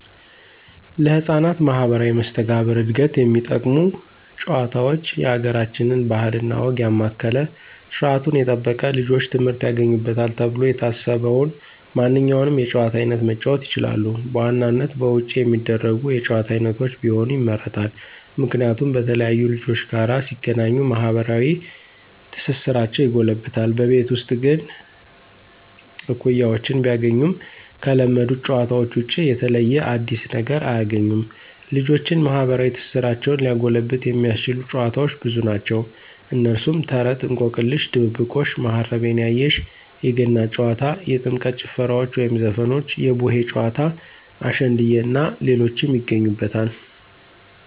ለህፃናት ማህበራዊ መስተጋብር ዕድገት የሚጠቅሙ ጭዋታውች የአገራችንን ባህል እና ወግ ያማከለ ስርዓቱን የጠበቀ ልጆች ትምህርት ያገኙበታል ተብሎ የታሰበውን ማንኛውንም የጨዋታ አይነት መጫወት ይችላሉ። በዋናነት በውጭ የሚደረጉ የጭዋታ አይነቶች ቢሆኑ ይመረጣል። ምክንያቱም በተለያዩ ልጆች ጋር ሲገናኙ ማህበራዊ ትስስራቸው ይጎለብታል። በቤት ውስጥ ግን እኩያወችን ቢያገኙም ከለመዱት ጨዋታዎች ውጭ የተለየ አዲስ ነገር አያግኙም። ልጆችን ማህበራዊ ትስስራቸውን ሊያጎለብት የሚያስችሉ ጨዋታዎች ብዙ ናቸው። እነሱም፦ ተረት፣ እንቆቅልሽ፣ ድብብቆሽ፣ ማሀረቤ ያየሽ፣ የገና ጨዋታ፣ የጥምቀት ጭፈራዎች ወይም ዘፈኖች፣ የቡሄ ጨዋታ፣ አሸንድየ እናንተ ሌሎችን ይገኙበታል።